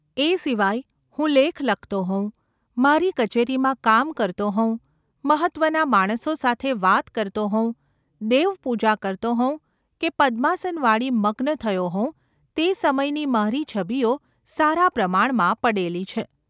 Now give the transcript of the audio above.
એ સિવાય હું લેખ લખતો હોઉં, મારી કચેરીમાં કામ કરતો હોઉં, મહત્ત્વનાં માણસો સાથે વાત કરતો ​ હોઉં, દેવપૂજા કરતો હોઉં કે પદ્માસન વાળી મગ્ન થયો હોઉં તે સમયની મારી છબીઓ સારા પ્રમાણમાં પડેલી છે.